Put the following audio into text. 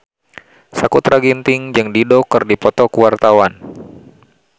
Sakutra Ginting jeung Dido keur dipoto ku wartawan